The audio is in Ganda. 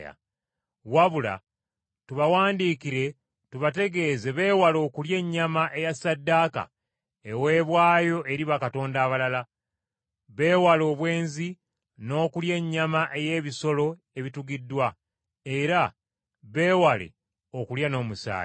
Wabula tubawandiikire tubategeeze beewale okulya ennyama eya ssaddaaka eweebwayo eri bakatonda abalala, beewale obwenzi n’okulya ennyama ey’ebisolo ebitugiddwa, era beewale okulya n’omusaayi.